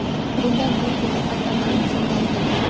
Bundan to‘rt yil muqaddam ham shunday edi.